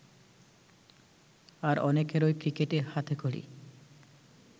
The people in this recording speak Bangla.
আর অনেকেরই ক্রিকেটে হাতেখড়ি